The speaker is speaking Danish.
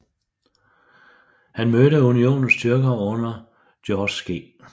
Han mødte Unionens styrker under George G